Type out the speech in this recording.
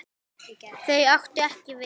Þau áttu ekki Viðvík.